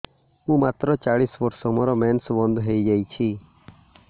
ମୁଁ ମାତ୍ର ଚାଳିଶ ବର୍ଷ ମୋର ମେନ୍ସ ବନ୍ଦ ହେଇଯାଇଛି